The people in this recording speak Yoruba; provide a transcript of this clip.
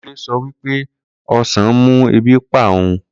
Kunle so wipe osan mu ebi npa oun